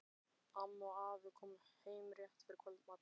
Amma og afi komu heim rétt fyrir kvöldmat.